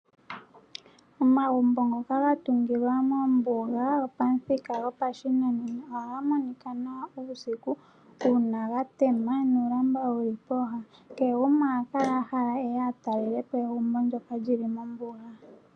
Omagumbo ngoka ga tungilwa mombuga gopamuthika gopashinanena ohaga monika nawa uusiku, uuna ga tema nuulamba wuli pooha. Kehe gumwe oha kala a hala eye a tale lepo egumbo ndyoka lili mombuga.